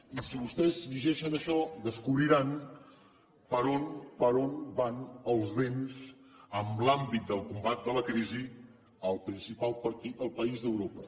i si vostès llegeixen això descobriran per on van els vents en l’àmbit del combat de la crisi al principal país d’europa